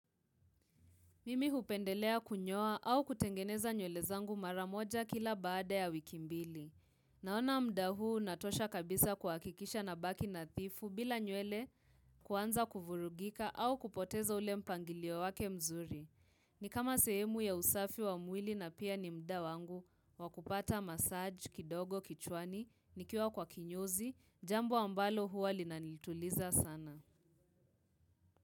Mimi hupendelea kunyoa au kutengeneza nywele zangu mara moja kila baada ya wiki mbili. Naona muda huu unatosha kabisa kuhakikisha nabaki nathifu bila nywele kuanza kuvurugika au kupoteza ule mpangilio wake mzuri. Ni kama sehemu ya usafi wa mwili na pia ni muda wangu wa kupata massage, kidogo, kichwani, nikiwa kwa kinyozi, jambo ambalo huwa linanituliza sana.